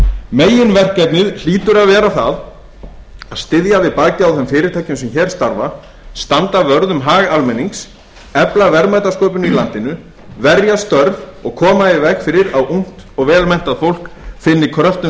meginverkefnið hlýtur að vera það að styðja við bakið á þeim fyrirtækjum sem hér starfa standa vörð um hag almennings efla verðmætasköpun í landinu verja störf og koma í veg fyrir að ungt og vel menntað fólk finni kröftum